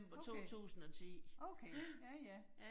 Okay. Okay, ja, ja